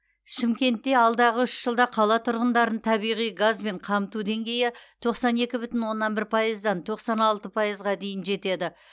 шымкентте алдағы үш жылда қала тұрғындарын табиғи газбен қамту деңгейі тоқсан екі бүтін оннан бір пайыздан тоқсан алты пайызға жетеді